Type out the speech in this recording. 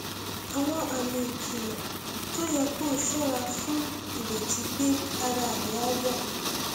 àwọn àmì ìkìlọ tó yẹ kó o ṣọra fún ìrètí pé ara rẹ á yá